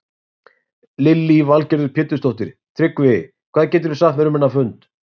Lillý Valgerður Pétursdóttir: Tryggvi, hvað geturðu sagt mér um þennan fund?